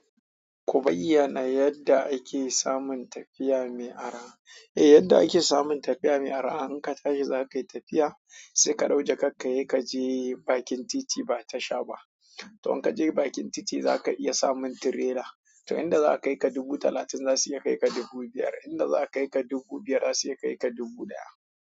Ku bayyana mana yadda ake samun tafiya mai araba, yadda ake samun tafiya mai araha, in ka tashi zakai tafiya, sai ka ɗauki jakar ka kaje bakin titi ba tasha ba to in ka je bakin titi za ka iya samun tirela. To inda za a kai ka a dubu talatin za su iya kai ka dubu biyar, inda za a kai ka dubu biyar za su iya kai ka dubu ɗaya.